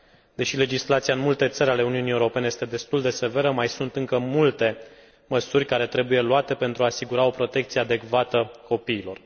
Deși legislația în multe țări ale Uniunii Europene este destul de severă, mai sunt încă multe măsuri care trebuie luate pentru a asigura o protecție adecvată copiilor.